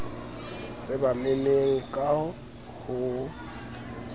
re ba memmeng ka ho